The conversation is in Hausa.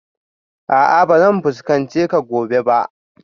A'a ba zan fuskance ka gobe ba